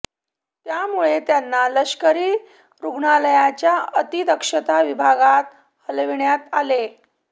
त्यामुळे त्यांना लष्करी रुग्णालयाच्या अतिदक्षता विभागात हलविण्यात आले